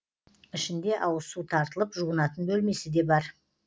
ішінде ауызсу тартылып жуынатын бөлмесі де бар